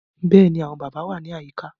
Bẹ́ẹ̀ ni, àwọn bàbá wà ní àyíká